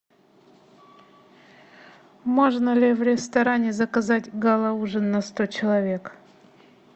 можно ли в ресторане заказать гала ужин на сто человек